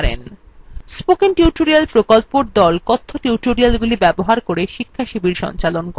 spoken tutorial প্রকল্পর the কথ্য tutorialগুলি ব্যবহার করে শিক্ষাশিবির সঞ্চালন করে